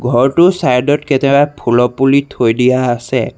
ঘৰটোৰ চাইড অত ফুলৰ পুলি থৈ দিয়া আছে।